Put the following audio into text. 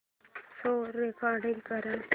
show record कर